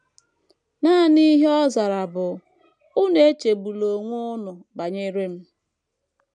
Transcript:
Nanị ihe ọ zara bụ: ‘ Unu echegbula onwe unu banyere m.